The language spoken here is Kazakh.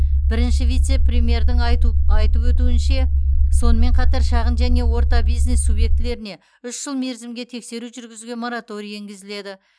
бірінші вице премьердің айтып өтуінше сонымен қатар шағын және орта бизнес субъектілеріне үш жыл мерзімге тексеру жүргізуге мораторий енгізіледі